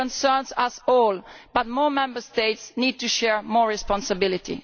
It concerns us all, but more Member States need to share more responsibility.